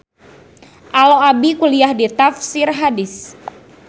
Alo abi kuliah di Tafsir Hadis